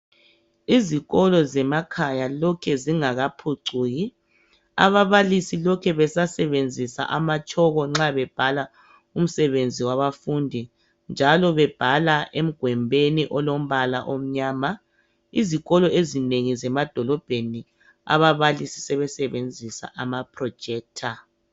Izikolo zemakhaya lokhe zingakaphucuki ababalisi lokhe besasebenzisa amatshoko nxa bebhala emsebenzi wabafundi njalo nxa bebhala egwembini elombala omnyama izikolo ezinengi zemadolobheni ababalisi sebesebenzisa amaprojector